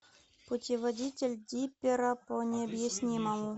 путеводитель диппера по необъяснимому